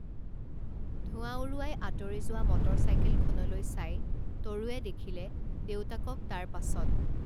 ধোঁৱা উৰুৱাই আঁতৰি যোৱা মটৰ চাইকেলখনলৈ চাই তৰুৱে দেখিলে দেউতাকক তাৰ পাছত